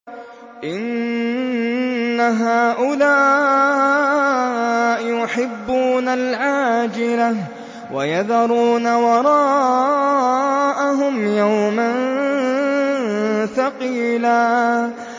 إِنَّ هَٰؤُلَاءِ يُحِبُّونَ الْعَاجِلَةَ وَيَذَرُونَ وَرَاءَهُمْ يَوْمًا ثَقِيلًا